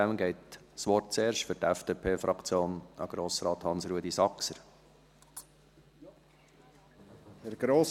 Daher geht das Wort zuerst für die FDP-Fraktion an Grossrat Hans-Rudolf Saxer.